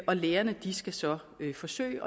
og lærerne skal så forsøge